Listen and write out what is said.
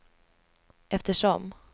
eftersom